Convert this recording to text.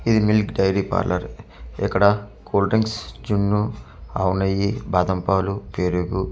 ఇది milk dairy parlour ఇక్కడ cool drinks జున్ను ఆవు నెయ్యి బాదంపాలు పెరుగు.